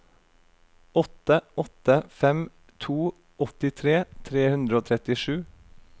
åtte åtte fem to åttitre tre hundre og trettisju